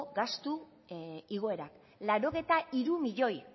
gastu igoera laurogeita hiru milioi